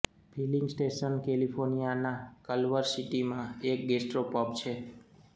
feeling station કેલિફોર્નિયાના Culver સિટીમાં એક ગેસ્ટ્રો પબ છે